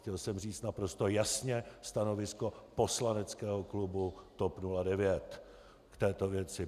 Chtěl jsem říct naprosto jasně stanovisko poslaneckého klubu TOP 09 k této věci.